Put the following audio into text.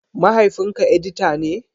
Mahaifinka edita ne?